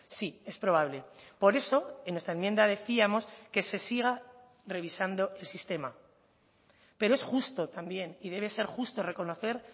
sí es probable por eso en nuestra enmienda decíamos que se siga revisando el sistema pero es justo también y debe ser justo reconocer